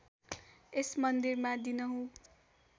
यस मन्दिरमा दिनहुँ